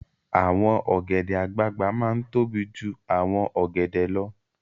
Awòn ògèdè àgbágbá má n tóbí jú áwòn ògèdè lò